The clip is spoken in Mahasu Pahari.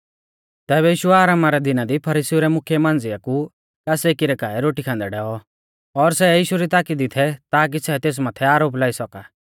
तैबै यीशु आरामा रै दिना दी फरीसीउ रै मुख्यै मांझ़िया कु कास एकी रै काऐ रोटी खान्दै डैऔ और सै यीशु ताकी दी थै ताकी सै तेस माथै आरोप लाई सौका